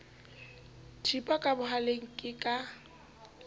thipa ka bohaleng ke ka